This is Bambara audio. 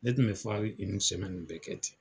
Ne tun be bɛɛ kɛ ten.